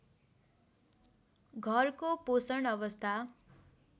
घरको पोषण अवस्था